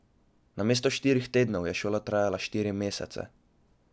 Namesto štirih tednov je šola trajala štiri mesece.